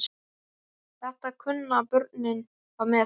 Þetta kunnu börnin að meta.